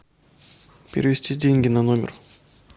перевести деньги на номер